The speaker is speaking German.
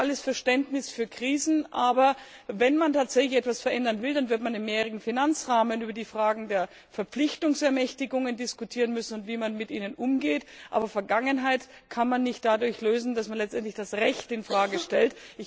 Ich habe jedes Verständnis für Krisen, aber wenn man tatsächlich etwas verändern will, dann wird man im Zusammenhang mit dem mehrjährigen Finanzrahmen über die Fragen der Verpflichtungsermächtigungen diskutieren müssen und darüber, wie man mit ihnen umgeht. Aber Vergangenheit kann man nicht dadurch lösen, dass man letztendlich das Recht in Frage stellt.